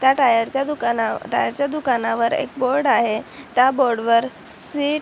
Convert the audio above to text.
त्या टायरच्या दुकान टायरच्या दुकाना टायरच्या दुकानावर एक बोर्ड आहे त्या बोर्ड वर सी--